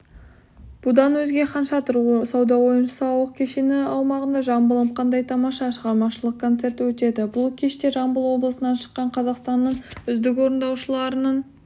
бұдан өзге хан шатыр сауда-ойын-сауық кешені аумағында жамбылым қандай тамаша шығармашылық концерті өтеді бұл кеште жамбыл облысынан шыққан қазақстанның үздік орындаушылардың